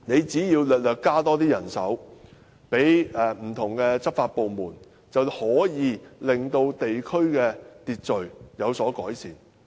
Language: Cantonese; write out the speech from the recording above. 只要政府稍為增加人手予不同的執法部門，便能夠令地區的秩序有所改善。